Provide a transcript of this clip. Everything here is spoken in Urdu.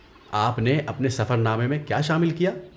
آپ نے اپنے سفر نامے میں کیا شامل کیا؟